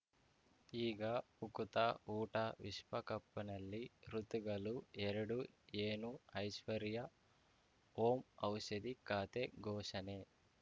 ಈಗ ಉಕುತ ಊಟ ವಿಶ್ವಕಪ್‌ನಲ್ಲಿ ಋತುಗಲು ಎರಡು ಏನು ಐಶ್ವರ್ಯಾ ಓಂ ಔಷಧಿ ಖಾತೆ ಘೋಷಣೆ